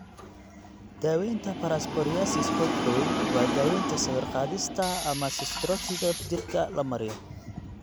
Daawaynta parapsoriasis xuubka weyn waa daaweynta sawir-qaadista ama corticosteroids jirka la mariyo.